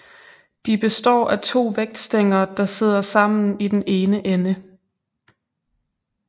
De består af to vægtstænger der sidder sammen i den ene ende